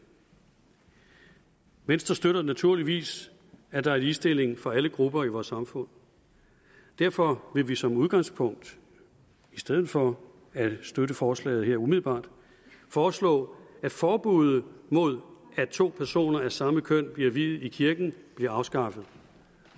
venstre støtter naturligvis at der er ligestilling for alle grupper i vores samfund og derfor vil vi som udgangspunkt i stedet for at støtte forslaget her umiddelbart foreslå at forbudet mod at to personer af samme køn bliver viet i kirken bliver afskaffet